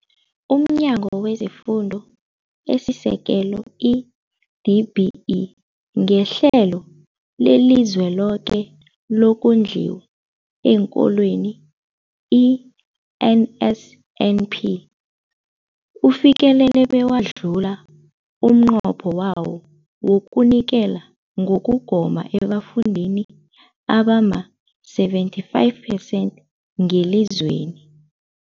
UmNyango wezeFundo esiSekelo, i-DBE, ngeHlelo leliZweloke lokoNdliwa eenKolweni, i-NSNP, ufikelele bewadlula umnqopho wawo wokunikela ngokugoma ebafundini abama-75 percent ngelizweni.